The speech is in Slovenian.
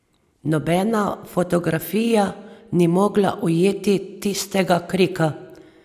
Nobena fotografija ni mogla ujeti tistega krika ...